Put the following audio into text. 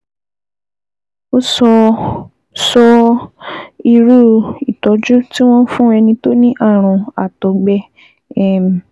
O ò sọ sọ irú ìtọ́jú tí wọ́n ń fún ẹni tó ní ààrùn àtọ̀gbẹ um